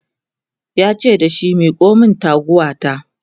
yace dashi "Miko min taguwa ta!"